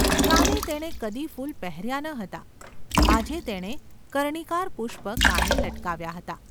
કાને તેણે કદી ફૂલ પહેર્યા ન હતાં; આજે તેણે કર્ણિકાર પુષ્પ કાને લટકાવ્યાં હતાં.